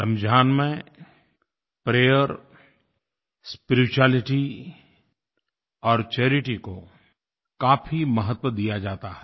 रमज़ान में prayer spirituality और charity को काफी महत्व दिया जाता है